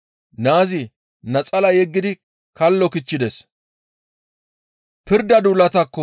Naazi naxalaa yeggidi kallo kichchides.